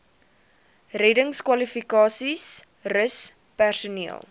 reddingskwalifikasies rus personeel